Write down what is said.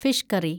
fish curry